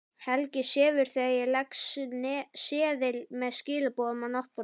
Helgi sefur þegar ég legg seðil með skilaboðum á náttborðið.